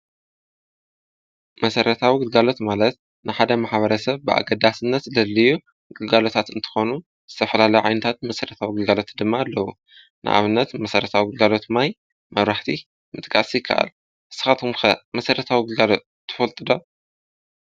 መሰረታዊ ግልጋሎት ማለት ንሓደ ማሕበረ ሰብ ብኣገዳስነት ዘደልዩ ግጋሎታት እንተኾኑ ዝተፈላለይ ዓይነታት መሰረታዊ ግልጋሎት ድማ ኣለዉ። ንኣብነት መሰረታዊው ጕልጋሎት ማይ፣ መብራሕቲ ምጥቃስ ይከኣል። ንስኻትኩም ከ መሰረታዊ ግልጋሎት ትፈልጥ ዶ?